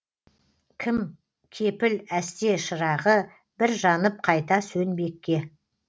кім кепіл әсте шырағы бір жанып қайта сөнбекке